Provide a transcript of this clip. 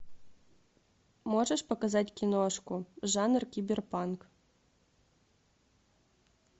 можешь показать киношку жанр киберпанк